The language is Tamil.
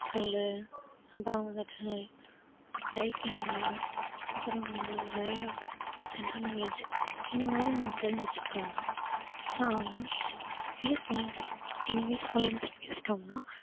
skill உ அப்புறம் வந்துட்டு typing உ அப்புறம் வந்து நிறைய general knowledge இந்த மாதிரி வந்து தெரிச்சு வெச்சுக்கிட்டோம்னா ஏன்னா இங்கிலிஷ் இங்கிலிஷ் fluency பேசிட்டோம்ன்னா